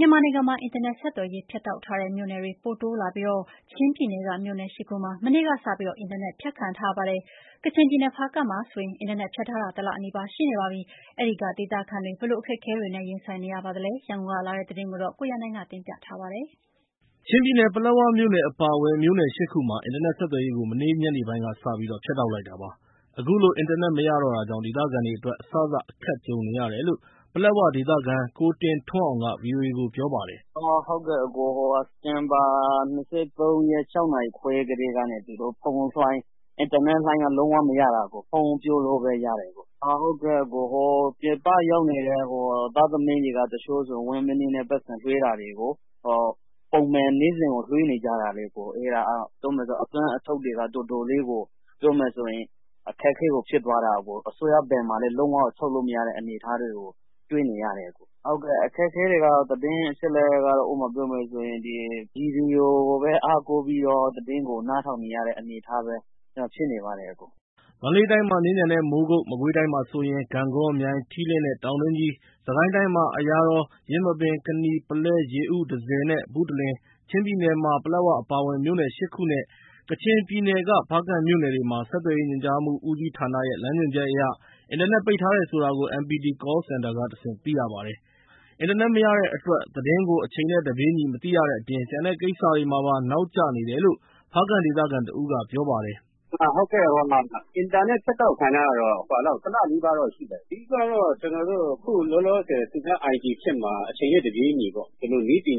မြန်မာနိုင်ငံမှာ အင်တာနက်ဆက်သွယ်ရေး ဖြတ်တောက်ထားတဲ့မြို့နယ်တွေ ပိုတိုးလာပြီး ချင်းပြည်နယ်က မြို့နယ် ၈ ခုမှာ မနေ့ကစပြီးတော့ အင်တာနက်ဖြတ်ခံထားရပါတယ်။ ကချင်ပြည်နယ်က ဖားကန့်မှာဆိုရင် အင်တာနက်ဖြတ်ထားတာ တလနီးပါးရှိနေပါပြီ။ အဲဒီကဒေသခံတွေ ဘယ်လိုအခက်အခဲတွေနဲ့ ရင်ဆိုင်နေရပါသလဲ၊ ရန်ကုန်ကလာတဲ့သတင်းကို ကိုရန်နိုင်ကပြောပြပါမယ်။ ချင်းပြည်နယ်က ပလက်ဝမြို့နယ်အပါအဝင် မြို့နယ် ၈ ခုမှာ အင်တာနက်ဆက်သွယ်ရေးကို မနေ့က ညနေပိုင်းကစပြီး ဖြတ်တောက်လိုက်တာပါ။ အခုလို အင်တာနက်မရတော့တာကြောင့် ဒေသခံတွေအတွက် အစစ အခက်ကြုံရတယ်လို့ ပလက်ဝ ဒေသခံ ကိုတင်ထွန်းအောင်က ဗွီအိုအေကို ပြောပါတယ်။ “စက်တင်ဘာလ ၂၃ ရက်နေ့ ညနေ ၆ နာရီခွဲကတည်းက အင်တာနက်လိုင်းတွေ လုံးဝ သုံးမရတာပါအကို။ ပြည်ပရောက်နေတဲ့သူတွေက တချို့ဆိုရင် ပိုက်ဆံလွှဲတာတွေ နေ့စဉ်လိုလိုရှိနေတော့ အဲဒါတွေက အသွင်းအထုတ် လုံးဝကို ခက်ခဲသွားတာပါအကို။ အစိုးရဘဏ်မှာလည်း လုံးဝကို ထုတ်မရတဲ့ အနေအထားတွေကိုတွေ့နေရတယ်။ သတင်းအချက်အလက် အခက်အခဲတွေ ဥပမာပြောရမယ်ဆိုရင် ကျနော်တို့က ရေဒီယိုကိုပဲ အားကိုးပြီး သတင်းနားထောင်နေရတယ်။” မန္တလေးတိုင်းမှာ မြင်းခြံနဲ့ မိုးကုတ်၊ မကွေးတိုင်းမှာဆိုရင် ဂန့်ဂေါ၊ မြိုင်၊ ထီးလင်းနဲ့ တောင်တွင်းကြီး၊ စစ်ကိုင်းတိုင်းမှာ အရာတော်၊ ယင်းမာပင်၊ ကနီ၊ ပုလဲ၊ ရေဦး၊ တန့်ဆည်နဲ့ ဘုတလင်၊ ချင်းပြည်နယ်မှာ ပလက်ဝအပါအဝင် မြို့နယ် ၈ ခုနဲ့ကချင်ပြည်နယ်က ဖားကန့်မြို့နယ်တွေမှာ ဆက်သွယ်ရေ ညွှန်ကြားမှုဦးစီးဌာနရဲ့ လမ်းညွန်ချက်အရ အင်တာနက်ပိတ်ထားတယ်ဆိုတာ MPT Call Center ကတဆင့် သိရပါတယ်။ အင်တာနက်မရတဲ့အတွက် သတင်းကို အချိန်နဲ့တပြေးညီ မသိရတဲ့အပြင် ကျန်တဲ့ကိစ္စတွေမှာပါ နောက်ကျနေတယ်လို့ ဖားကန့်ဒေသခံတဦးကလည်း ပြောပါတယ်။ “အင်တာနက် ဖြတ်တောက်ခံထားရတာတော့ တလနီးပါးလောက်ရှိနေပြီ။ အဓိကတော့ ကျနော်တို့ လောလောဆယ် IT ခေတ်မှာ အချိန်နဲ့တပြေးညီ နည်းပ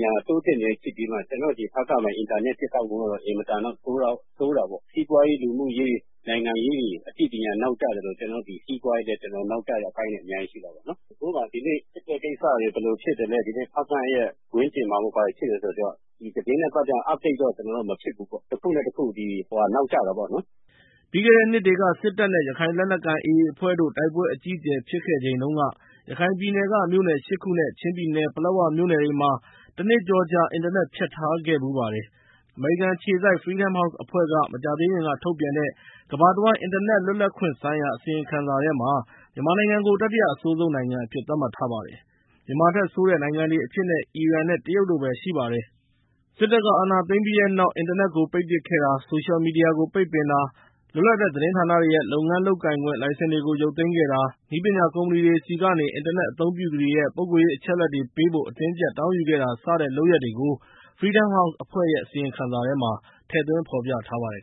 ညာတိုးတက်နေတဲ့ ခေတ်ကြီးမှာ ကျနော်တို့ ဖားကန့်မှာ အင်တာနက် ဖြတ်တောက်မှုကတော့ အင်မတန်တော့ ဆိုးတာပေါ့။ စီးပွားရေး၊ လူမှုရေး၊ နိုင်ငံရေးတွေ အသိပညာနောက်ကျသလို စီးပွားရေးလည်း နောက်ကျတဲ့အပိုင်းတွေ အများကြီးရှိတယ်။ ဥပမာ ဒီနေ့ တိုက်ပွဲကိစ္စတွေ ဘယ်လိုဖြစ်သလဲ၊ ဖားကန့်ရဲ့ ဝန်းကျင်မှာ ဘာတွေဖြစ်နေလဲဆိုတာတော့ သတင်းနဲ့ပတ်သက်ရင် update တော့ ကျနော်တို့ မဖြစ်ဘူးပေါ့။ တခုနဲ့တခု နောက်ကျတာပေါ့နော်။” ပြီးခဲ့တဲ့နှစ်တွေက စစ်တပ်နဲ့ ရခိုင်လက်နက်ကိုင် AA အဖွဲ့တို့ တိုက်ပွဲအကြီးအကျယ် ဖြစ်ခဲ့ချိန်တုန်းက ရခိုင်ပြည်နယ်က မြို့နယ် ၈ ခုနဲ့ ချင်းပြည်နယ်က ပလက်ဝမြို့နယ်တွေမှာ တနှစ်ကျော်ကြာ အင်တာနက် ဖြတ်ထားခဲ့ဖူးပါတယ်။ အမေရိကန်အခြေစိုက် Freedom House အဖွဲ့က မကြာသေးခင်ကထုတ်ပြန်တဲ့ ကမ္ဘာတဝန်း အင်တာနက်လွတ်လပ်ခွင့်ဆိုင်ရာ အစီရင်ခံစာထဲမှာ မြန်မာနိုင်ငံကို တတိယ အဆိုးဆုံးနိုင်ငံအဖြစ် သတ်မှတ်ထားပါတယ်။ မြန်မာထက်ဆိုးတဲ့နိုင်ငံတွေအဖြစ် အီရန်နဲ့ တရုတ်တို့ပဲရှိပါတယ်။ စစ်တပ်က အာဏာသိမ်းပြီးတဲ့နောက် အင်တာနက်ကို ပိတ်ပစ်ခဲ့တာ၊ ဆိုရှယ်မီဒီယာကို ပိတ်ပင်တာ၊ လွတ်လပ်တဲ့သတင်းဌာနတွေရဲ့ လုပ်ငန်းလုပ်ကိုင်ခွင့် လိုင်စင်တွေကို ရုပ်သိမ်းခဲ့တာ၊ နည်းပညာကုမ္ပဏီတွေဆီကနေ အင်တာနက်အသုံးပြုသူတွေရဲ့ ပုဂ္ဂိုလ်ရေးအချက်အလက်တွေပေးဖို့ အတင်းအကျပ်တောင်းယူခဲ့တာ စတဲ့လုပ်ရပ်တွေကို Freedom House အဖွဲ့ အစီရင်ခံစာထဲမှာ ထည့်သွင်းဖော်ပြထားပါတယ်